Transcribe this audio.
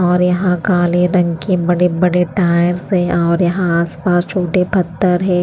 और यहां काले रंग के बड़े-बड़े टायर्स है और यहां आसपास छोटे पत्थर हैं।